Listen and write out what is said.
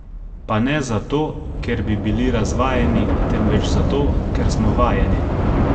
Pa ne zato, ker bi bili razvajeni, temveč zato, ker smo vajeni!